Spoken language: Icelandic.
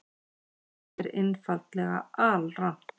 Þetta er einfaldlega alrangt.